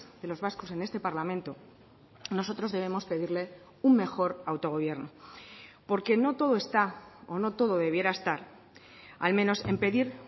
de los vascos en este parlamento nosotros debemos pedirle un mejor autogobierno porque no todo está o no todo debiera estar al menos en pedir